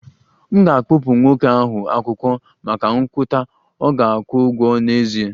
M ga-akpụpụ nwoke ahụ akwụkwọ maka nkwutọ, ọ ga-akwụ ụgwọ n'ezie